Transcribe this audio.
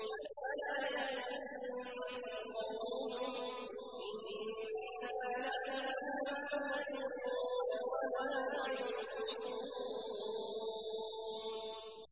فَلَا يَحْزُنكَ قَوْلُهُمْ ۘ إِنَّا نَعْلَمُ مَا يُسِرُّونَ وَمَا يُعْلِنُونَ